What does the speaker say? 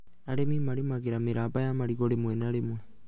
Arĩmi marĩmagĩra mĩramba ya marigũ rĩmwe na rĩmwe